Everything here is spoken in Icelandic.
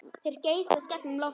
Þeir geysast gegnum loftið.